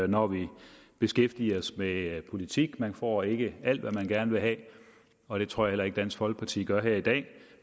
når vi beskæftiger os med politik man får ikke alt hvad man gerne vil have og det tror jeg heller ikke dansk folkeparti gør her i dag